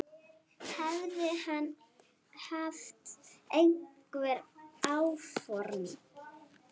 Hefði hann haft einhver áform.